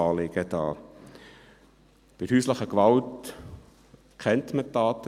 Bei häuslicher Gewalt kennt man die Daten;